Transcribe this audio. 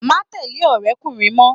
Má tẹ̀lẹ́ ọ̀rẹ́kùnrín mọ́!